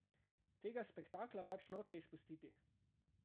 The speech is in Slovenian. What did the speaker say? Tega spektakla pač noče izpustiti.